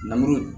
Namuru in